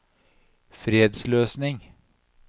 fredsløsning